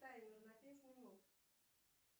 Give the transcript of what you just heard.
таймер на пять минут